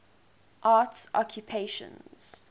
arts occupations